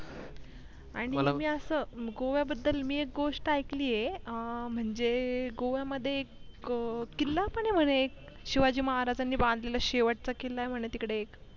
आणि मी असं गोव्या बद्दल मी एक गोष्ट ऐकलीये अं म्हणजे गोव्या मध्ये एक किल्ला पण ये म्हणे शिवाजी महाराजांनी बांधलेला शेवटचा किल्ला ये म्हणे तिकडे एक.